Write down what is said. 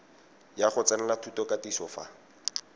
ya go tsenela thutokatiso fa